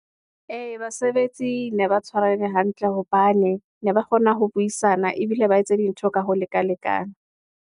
Ee, basebetsi ne ba tshwarehe hantle, hobane ne ba kgona ho buisana, ebile ba etse dintho ka ho lekalekana.